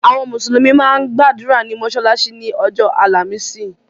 Àwọn mùsùlùmí máa ń gbàdúrà ní mọ́sálásí ni ọjọ́ àlàmísì.